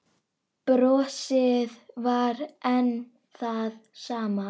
Brosið var enn það sama.